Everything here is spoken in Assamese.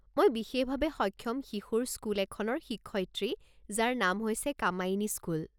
মই বিশেষভাৱে সক্ষম শিশুৰ স্কুল এখনৰ শিক্ষয়িত্ৰী যাৰ নাম হৈছে কামায়িনি স্কুল।